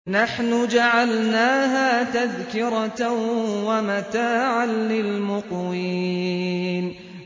نَحْنُ جَعَلْنَاهَا تَذْكِرَةً وَمَتَاعًا لِّلْمُقْوِينَ